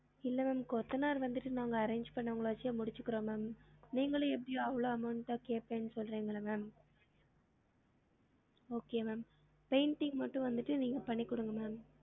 இல்ல ma'am கொத்தனார் வந்துட்டு நாங்க arrange பன்னவங்கள வச்சே முடிச்சிக்கிறோம் ma'am நீங்களும் எப்டியும் அவ்ளோ amount தான் கேப்பேன்னு தான் சொல்றிங்கள்ள ma'am okay ma'am painting மட்டும் வந்துட்டு நீங்க பண்ணி குடுங்க ma'am